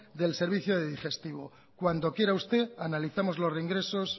del servicio de digestivo cuando quiera usted analizamos los reingresos